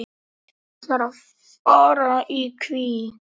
Við þráum hvíld.